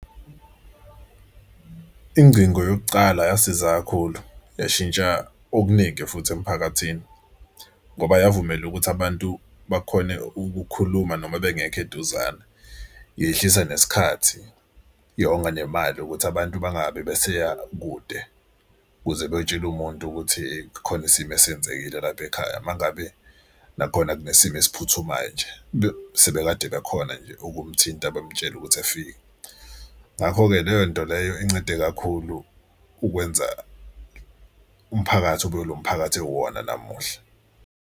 Ingcingo yokucala yasiza kakhulu yashintsha okuningi futhi emphakathini ngoba yavumela ukuthi abantu bakhone ukukhuluma noma bengekho eduzane. Yehlisa nesikhathi yonga nemali ukuthi abantu bangabe beseya kude ukuze beyotshela umuntu ukuthi khona isimo esenzekile lapha ekhaya uma ngabe nakhona kunesimo esiphuthumayo nje. Sebekade bekhona nje ukumthinta bamutshele ukuthi efike. Ngakho-ke leyo nto leyo incede kakhulu ukwenza umphakathi ube ilo mphakathi owona namuhla.